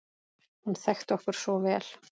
Hún þekkti okkur svo vel.